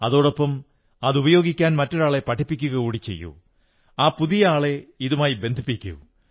അതോടൊപ്പം അതുപയോഗിക്കാൻ മറ്റൊരാളെ പഠിപ്പിക്കുക കൂടി ചെയ്യൂ ആ പുതിയ ആളെ ഇതുമായി ബന്ധിപ്പിക്കൂ